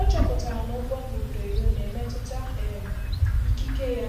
Ọ chọpụtara na ụgwọ mbubreyo na-emetụta um ikike ya